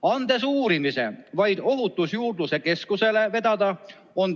Ta andis uurimise Ohutusjuurdluse Keskuse vedada.